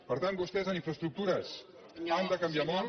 per tant vostès en infraestructures han de canviar molt